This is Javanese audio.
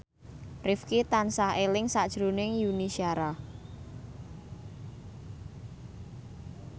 Rifqi tansah eling sakjroning Yuni Shara